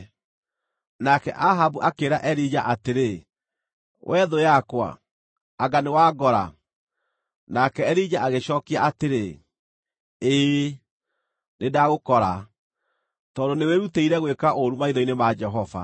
Nake Ahabu akĩĩra Elija atĩrĩ, “Wee thũ yakwa, anga nĩwangora!” Nake Elija agĩcookia atĩrĩ, “Ĩĩ, nĩndagũkora, tondũ nĩwĩrutĩire gwĩka ũũru maitho-inĩ ma Jehova.